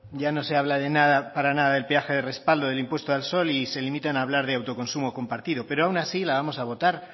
ya no se habla para nada del peaje de respaldo del impuesto al sol y se limitan a hablar de autoconsumo compartido pero aun así la vamos a votar